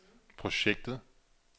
projektet